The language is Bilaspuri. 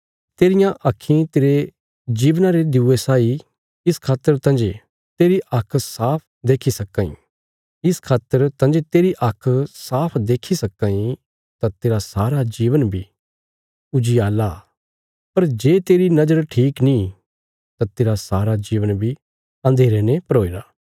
तेरियां आक्खीं तेरे जीवना रे दिऊये साई आ इस खातर तांजे तेरी आँख साफ देक्खी सक्कां तां तेरा सारा जीवन बी उजियाला पर जे तेरी नजर ठीक नीं तां तेरा सारा जीवन बी अन्धेरे ने भरोईरा